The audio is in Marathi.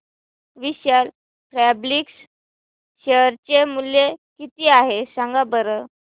विशाल फॅब्रिक्स शेअर चे मूल्य किती आहे सांगा बरं